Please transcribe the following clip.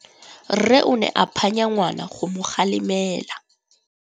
Rre o ne a phanya ngwana go mo galemela.